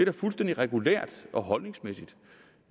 er fuldstændig regulært og holdningsmæssigt